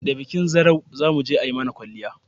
da bikin zarau zamuje ayi mana kwalliya